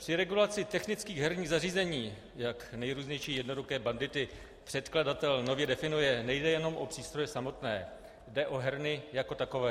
Při regulaci technických herních zařízení, jak nejrůznější jednoduché bandity předkladatel nově definuje, nejde jenom o přístroje samotné, jde o herny jako takové.